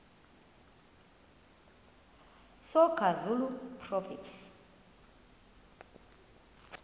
soga zulu proverbs